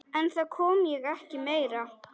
En það kom ekki meira.